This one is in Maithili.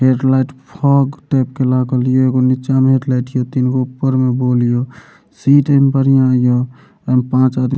एक लाइट फॉग टाइप के लागल हिये एगो निचा में एक लाइट हियो तीन गो ऊपर में बल्ब हियो सीट एन बढ़िया हियो और पांच आदमी --